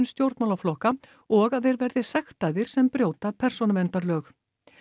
stjórnmálaflokka og að þeir verði sektaðir sem brjóta persónuverndarlög